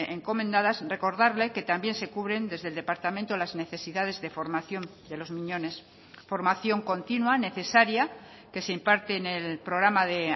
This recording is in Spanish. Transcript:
encomendadas recordarle que también se cubren desde el departamento las necesidades de formación de los miñones formación continua necesaria que se imparte en el programa de